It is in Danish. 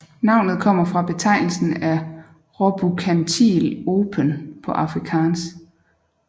Navnet kommer fra betegnelsen af råbukantilopen på afrikaans